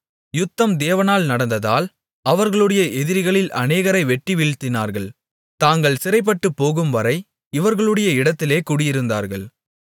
யுத்தம் தேவனால் நடந்ததால் அவர்களுடைய எதிரிகளில் அநேகரை வெட்டி வீழ்த்தினார்கள் தாங்கள் சிறைப்பட்டுப்போகும்வரை இவர்களுடைய இடத்திலே குடியிருந்தார்கள்